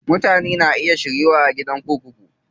Mutane na iya shiryuwa a gidan kurkuku.